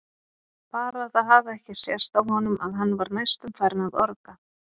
Bara að það hafi ekki sést á honum að hann var næstum farinn að orga!